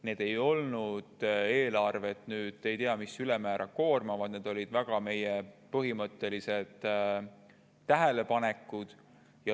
Need ei olnud eelarvet ülemäära koormavad, need olid meie väga põhimõttelised tähelepanekud.